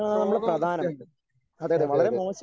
അതെയതെ.